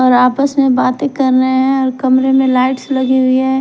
और आपस में बातें कर रहे हैं और कमरे में लाइट्स लगी हुई है।